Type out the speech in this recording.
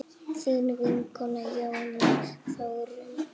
Þín vinkona Jóna Þórunn.